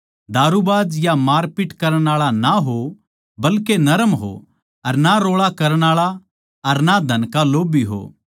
दारूबाज या मारपीट करण आळा ना हो बल्के नरम हो अर ना रोळा करण आळा अर ना धन का लोभ्भी हो